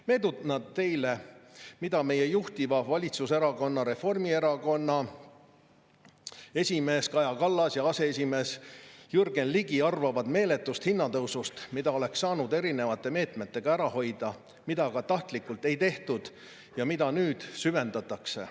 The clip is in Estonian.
Meenutan teile, mida meie juhtiva valitsuserakonna, Reformierakonna esimees Kaja Kallas ja aseesimees Jürgen Ligi arvavad meeletust hinnatõusust, mida oleks saanud erinevate meetmetega ära hoida, mida aga tahtlikult ei tehtud ja mida nüüd süvendatakse.